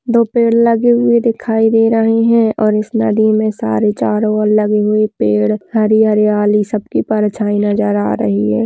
दो पेड़ लगे हुए दिखाई दे रहे हैं और इस नदी में सारे चारों और लगे हुए पेड़ हैं हरी हरियाली सबकी परछाई नजर आ रही है।